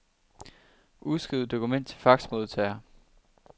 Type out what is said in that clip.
Udskriv dokument til faxmodtager.